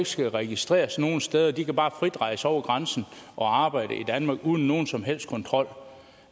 skal registreres nogen steder de kan bare frit rejse over grænsen og arbejde i danmark uden nogen som helst kontrol